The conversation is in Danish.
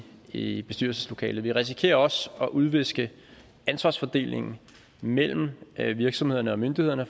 i bestyrelseslokalet vi risikerer også at udviske ansvarsfordelingen mellem virksomhederne og myndighederne